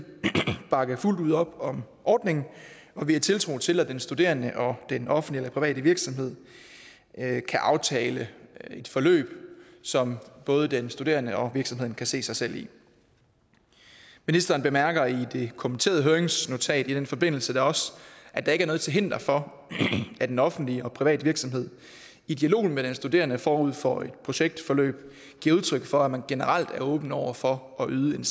bakke fuldt ud op om ordningen og vi har tiltro til at den studerende og den offentlige private virksomhed kan aftale et forløb som både den studerende og virksomheden kan se sig selv i ministeren bemærker i det kommenterede høringsnotat i den forbindelse da også at der ikke er noget til hinder for at den offentlige private virksomhed i dialogen med den studerende forud for et projektforløb giver udtryk for at man generelt er åben over for at yde en